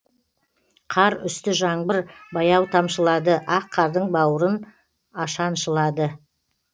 қар үсті жаңбыр баяу тамшылады ақ қардың бауырын ашаншылады